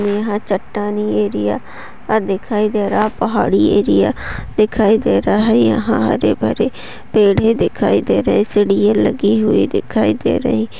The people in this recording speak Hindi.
यहाँ चट्टानी एरिया अ दिखाई दे रहा है पहाड़ी एरिया दिखाई दे रहा है यहाँ हरे भरे पेड़े दिखाई दे रहे है सीढियाँ लगी हुई दिखाई दे रही।